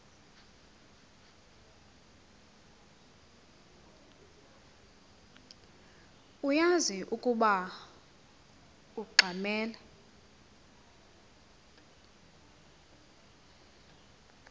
uyaz ukoba ungxamel